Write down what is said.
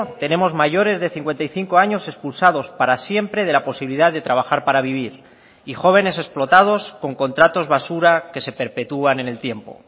tenemos mayores de cincuenta y cinco años expulsados para siempre de la posibilidad de trabajar para vivir y jóvenes explotados con contratos basura que se perpetúan en el tiempo